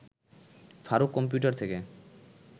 Faruk computer থেকে